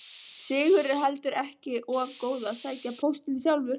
Sigurður heldur ekki of góður að sækja póstinn sjálfur.